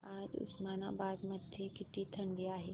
आज उस्मानाबाद मध्ये किती थंडी आहे